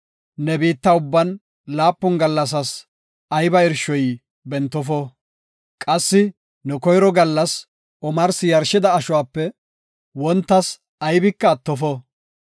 Ne biitta ubban laapun gallassas ayba irshoy bentofo. Qassi ne koyro gallas omarsi yarshida ashuwape wontas aybika attofo.